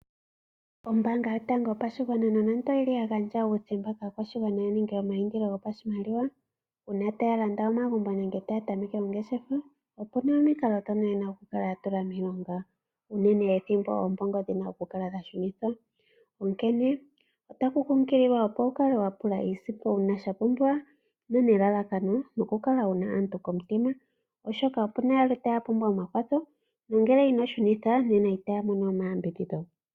Ombaanga yotango yopashigwana nonando oyi li ya gandja uuthemba kaakwashigwana ya ninge omayindilo gopashimaliwa uuna taya landa omagumbo nenge taya tameke ongeshefa opu na omikalo ndhono ye na okukala ya tula miilonga, unene ethimbo oombongo dhi na okukala shunithwa. Onkene otaku kunkililwa, opo wu kale wa pula iisimpo uuna sha pumbiwa nonelalakano okukala wu na aantu komutima, oshoka opu na yamwe taya ka pumbwa omakwatho nongele ino shunitha nena itaya mono omayambidhidho.